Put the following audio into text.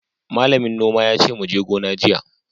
Malamin noma yace muje gona jiya!